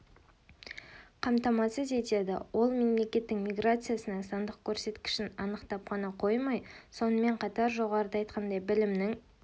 қамтамасыз етеді ол мемлекеттің миграциясының сандық көрсеткішін анықтап қана қоймай сонымен қатар жоғарыда айтқандай білімнің